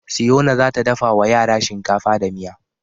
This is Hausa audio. Siyona za ta dafa wa yara shinkafa da miya.